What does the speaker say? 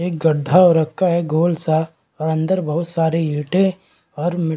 एक गड्ढा हो रखा है गोल-सा और अंदर बहुत सारे ईंटे और मिट --